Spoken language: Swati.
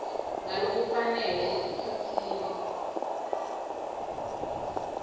ngalokufanele esikhatsini